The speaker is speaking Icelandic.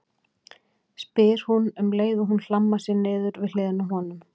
spyr hún um leið og hún hlammar sér niður við hliðina á honum.